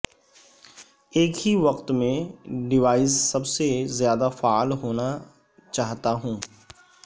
ایک ہی وقت میں ڈیوائس سب سے زیادہ فعال ہونا چاہتا ہوں